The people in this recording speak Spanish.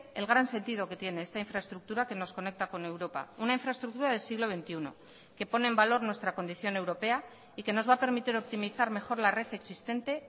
el gran sentido que tiene esta infraestructura que nos conecta con europa una infraestructura del siglo veintiuno que pone en valor nuestra condición europea y que nos va a permitir optimizar mejor la red existente